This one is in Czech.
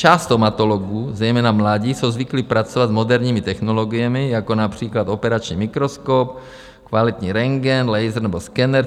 Část stomatologů, zejména mladí, jsou zvyklí pracovat s moderními technologiemi, jako například operační mikroskop, kvalitní rentgen, laser nebo skener.